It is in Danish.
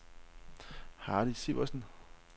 Hardy Sivertsen